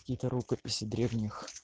кие то рукописи древних